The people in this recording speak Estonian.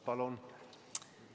Palun!